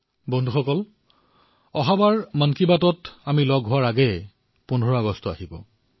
বন্ধুসকল অহাবাৰৰ মন কী বাতৰ পূৰ্বে আমি ১৫ আগষ্ট পালন কৰিম